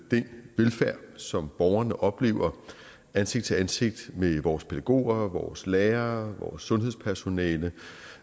den velfærd som borgerne oplever ansigt til ansigt med vores pædagoger vores lærere vores sundhedspersonale